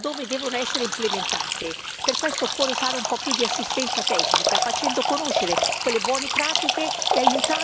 Per questo garantire un po' più di assistenza tecnica, facendo conoscere quelle buone pratiche e aiutando ad andare in questa direzione.